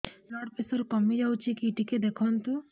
blood pressure କମି ଯାଉଛି କି ଟିକେ ଦେଖନ୍ତୁ